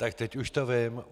Tak teď už to vím.